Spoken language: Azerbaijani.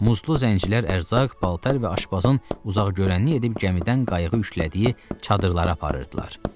Muzlu zəncirlər ərzaq, paltar və aşpazın uzaqgörənlik edib gəmidən qayığı yüklədiyi çadırlara aparırdılar.